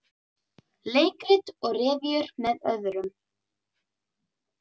Leikrit og revíur með öðrum